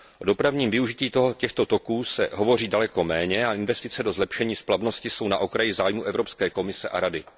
O dopravním využití těchto toků se hovoří daleko méně a investice do zlepšení splavnosti jsou na okraji zájmu Evropské komise a Rady.